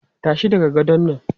Tashi daga gadon nan!